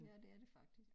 Ja det er det faktisk